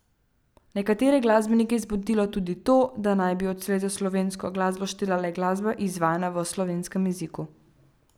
Nekatere glasbenike je zmotilo tudi to, da naj bi odslej za slovensko glasbo štela le glasba, izvajana v slovenskem jeziku.